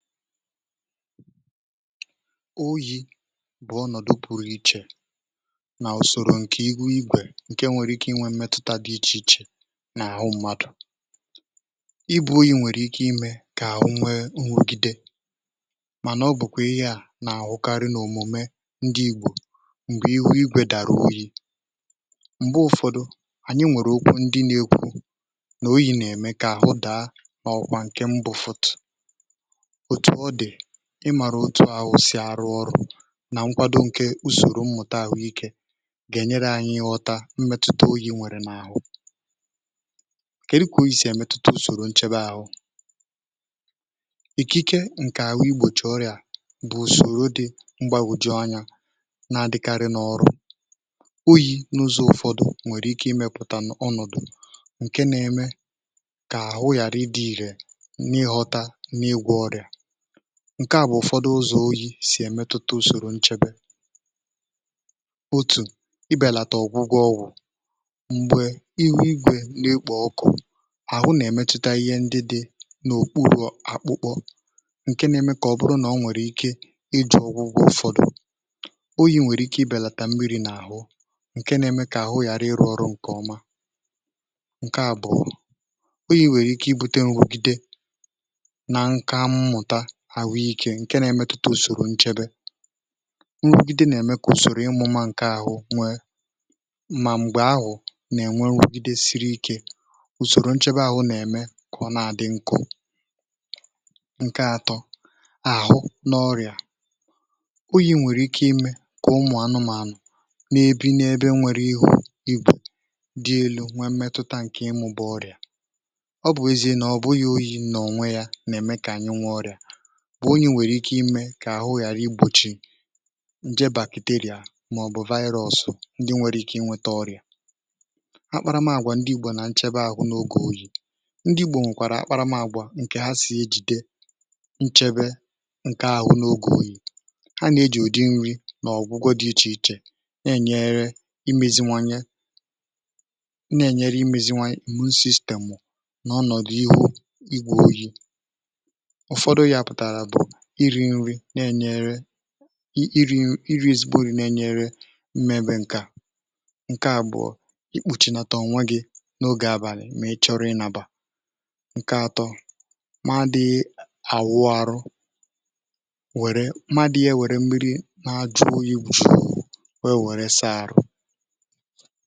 oyi̇ bụ̀ ọnọ̀dụ̀ buru ichè nà ùsòrò ǹkè igwu igwè ǹke nwèrè ike inwė mmetụta dị̇ iche iche n’àhụ mmadụ̀. ibu oyi̇ nwèrè ike imē kà àhụ nwe onwȯgide, mà nà ọ bụ̀kwà ihe à nà-àhụkarị n’òmùme ǹdi Ìgbò um m̀gbè ihu igwè dàrà oyi. m̀gbe ụ̇fọdụ ànyị nwèrè okwu ndị na-ekwu nà oyi̇ nà-ème kà àhụ daa n’ọkwa ǹke mbufọ̀t, ị màrụ otu ahụ̀ sì arụ ọrụ nà nkwado ǹkè ùsòrò mmụ̀ta àhụ́ ike gà-ènye ànyị nghọta mmetụta oyi̇ nwèrè n’àhụ, kà e di kwà oyi̇ sì èmetụta ùsòrò nchebe àhụ́ ike. ike ike ǹkè àhụ igbòchi ọrịà bụ̀ ùsòrò dị mgbagwoju anya, na-adịkarị n’ọrụ um oyi̇ n’ụzọ̇ ụfọdụ̀, nwèrè ike imēpụ̀ta ọnọ̀dụ̀ ǹke nà-émè kà àhụ yàra ị dị̇ ìhè n’ịghọta n’ịgwọ ọrịà. ǹkè à bụ̀ ụfọdụ ụzọ̀ oyi̇ sì èmetụta ùsòrò nchebe, otù ibèlàtà ọ̀gwụgwọ ọwụ̀, m̀gbè ihu igwè n’ekpò ọkụ̀ àhụ nà-èmetụta ihe ndị dị̇ n’òkpùrụ àkpụkpọ ǹke na-eme kà ọ bụrụ nà ọ nwèrè ike ịdụ̇ ọ̀gwụgwọ. ụfọdụ oyi̇ nwèrè ike ibèlàtà mbiri n’àhụ ǹke na-eme kà àhụ yara ịrụ̇ ọrụ ǹkè ọma. ǹkè àbụ̀ ọrụ oyi̇ nwèrè ike ibùtė onwogide nà nka mmụ̀ta ǹke na-emetụta ùsòrò nchebe nrugide, na-eme kà ùsòrò ịmụ̇mụ̇ ǹkè ahụ̀ nwee mma m̀gbè ahụ̀ nà-ènwe nrugide siri ike. ùsòrò nchebe ahụ̀ nà-ème kà ọ nà-àdị nku̇. ǹke atọ̇ àhụ, n’ọrịà oyi̇, nwèrè ike imē kà ụmụ̀ anụ̇mȧnụ̀ n’ebe n’ebe nwèrè ihu̇ ịbụ̇ dị elu̇ nwee mmetụta ǹkè ịmụ̇. bụ̀ ọrịà ọ bụ̀ ezi nà ọ bụghị̇ oyi̇ nà onwe ya nà-ème kà anyị nwee ọrịà ǹje bàkìtèrìà màọ̀bụ̀ vaịrọ̇, ọsụ̇ ndị nwere ike inwėtȧ ọrịà ha. um kparamàgwà ndị Ìgbò nà nchebe àhụ n’ogè oyi̇, ndị Ìgbò nwèkwàrà ha kparamàgwà ǹkè ha sì ejìde nchebe ǹkè ahụ̀ n’ogè oyi̇. ha nà-ejì ùdị nri̇ nà ọ̀gwụgwọ dị iche iche na-enyere imēziwanye sistemụ̀ n’ọnọ̀dụ̀ ihu igwè. oyi̇ na-ènyere iri̇, iri̇ zigbòrì, na-enyere mmepe ǹke à. ǹke àbụ̀ọ ikpùchìnàtà ọnwa gị̇ n’ogè abàlị̀, mà ị chọrọ ịnàbà ǹkè atọ̇, ma dị̇ àwụ, arụ, wère mmadụ̇ ihe, wère mmi̇ri̇ na-ajụ̇, oyìbochì wee wèresịa àrụ.